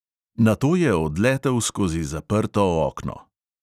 Nato je odletel skozi zaprto okno.